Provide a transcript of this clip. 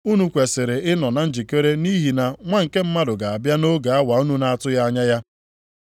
Unu kwesiri ịnọ na njikere nʼihi na Nwa nke Mmadụ ga-abịa nʼoge awa unu na-atụghị anya ya.”